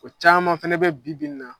O caman fɛnɛ be bi bi in na